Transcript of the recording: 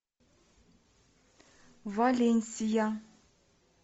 валенсия